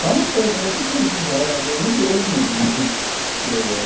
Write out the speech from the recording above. Só na empresa mesmo que tem, que gera, entre eles mesmo, né? Eh.